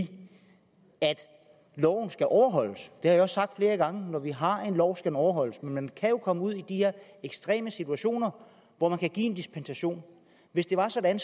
at loven skal overholdes jeg har også sagt flere gange at når vi har en lov skal den overholdes men man kan jo komme ud i de her ekstreme situationer hvor der kan gives en dispensation hvis det var sådan